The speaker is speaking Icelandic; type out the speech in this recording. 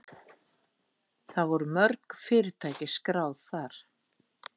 Það voru mörg fyrirtæki skráð þar